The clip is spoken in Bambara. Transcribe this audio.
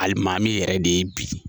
Alimami yɛrɛ de ye bi.